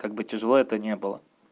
как бы тяжело это не было